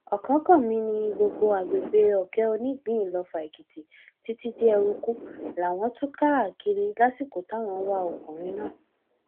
ọkánkànmí ni gbogbo agbègbè òkè onígbín iloffa èkìtì títí dé ẹrúkú làwọn tú káàkiri lásìkò táwọn ń wá ọkùnrin náà